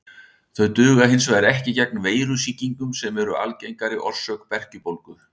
Þau duga hins vegar ekki gegn veirusýkingum sem eru algengari orsök berkjubólgu.